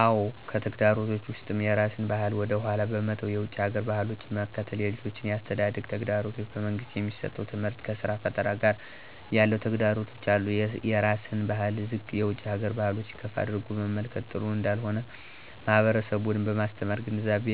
አዎ! ከተግዳሮቶች ውስጥም የራስን ባህል ወደ ኃላ በመተው የውጭ ሀገር ባህሎችን መከተል፣ የልጆች የአስተዳደግ ተግዳሮቶች፣ በመንግስት የሚሠጠው ትምህርት ከስራ ፈጠራ ጋር ያለው ተግዳሮቶች አሉ። -የራስን ባህል ዝቅ የውጭ ሀገር ባህሎችን ከፍ አድርጎ መመልከት ጥሩ እንዳልሆነ ማህበረሠቡን በማስተማር ግንዛቤ